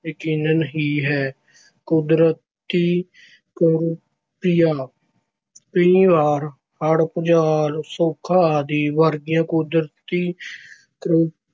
ਯਕੀਨਨ ਹੀ ਹੈ। ਕੁਦਰਤੀ ਕਰੋਪੀਆਂ- ਕਈ ਵਾਰ ਹੜ੍ਹ, ਭੁਚਾਲ, ਸੋਕਾ ਆਦਿ ਵਰਗੀਆਂ ਕੁਦਰਤੀ ਕਰੋ